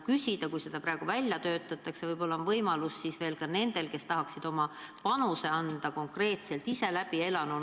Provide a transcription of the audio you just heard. Kui seda süsteemi praegu välja töötatakse, siis võib-olla tahaksid oma panuse anda ka inimesed, kes midagi konkreetselt on ise läbi elanud.